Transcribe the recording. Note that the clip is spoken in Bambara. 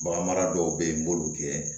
Bagan mara dɔw bɛ yen n b'olu kɛ